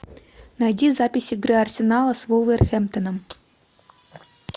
найди запись игры арсенала с вулверхэмптоном